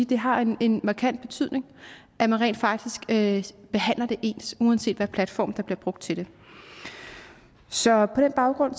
det har en en markant betydning at man rent faktisk det ens uanset platform der bliver brugt til det så på den baggrund